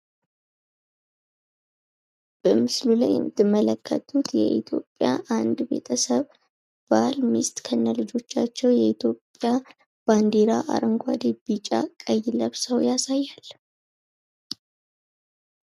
በምስሉ ላይ የምትመለከቱት የኢትዮጵያ አንድ ቤተሰብ ባል ሚስት ከነልጆቻቸው የኢትዮጵያ ባንድራ ቀይ ቢጫ አረንጓዴ ለብሰው ያሳያል።